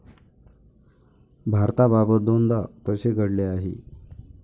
भारताबाबत दोनदा तसे घडले आहे.